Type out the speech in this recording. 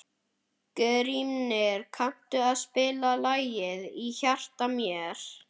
Grímnir, kanntu að spila lagið „Í hjarta mér“?